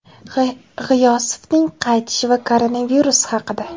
G‘iyosovning qaytishi va koronavirus haqida.